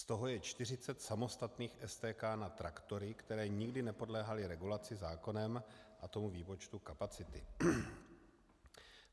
Z toho je 40 samostatných STK na traktory, které nikdy nepodléhaly regulaci zákonem a tomu výpočtu kapacity.